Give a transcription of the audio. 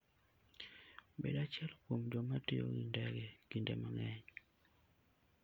Bed achiel kuom joma tiyo gi ndege kinde mang'eny.